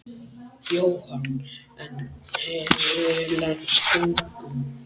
Jóhann: En hefurðu leynt gögnum?